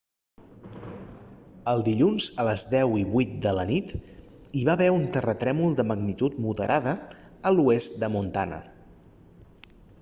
el dilluns a les 10:08 de la nit hi va haver un terratrèmol de magnitud moderada a l'oest de montana